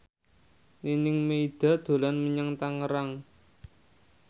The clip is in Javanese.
Nining Meida dolan menyang Tangerang